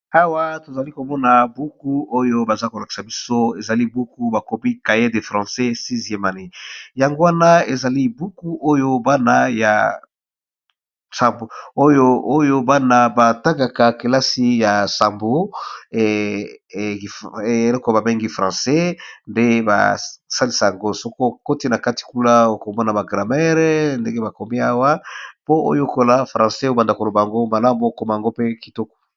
Awa tozali komona buku Oyo bazokolakisa biso bakomi 6 sieme Anne eaa buku ya ko tanga na kelasi